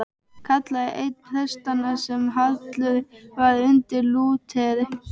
kallaði einn prestanna sem hallur var undir Lúter.